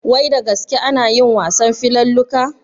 Wai da gaske anayin wasan filalluka?